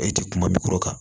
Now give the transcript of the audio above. E ti kuma min kɔrɔ kan